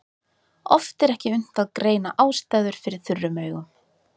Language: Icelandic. Oft er ekki unnt að greina ástæður fyrir þurrum augum.